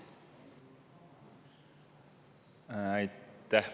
Aitäh!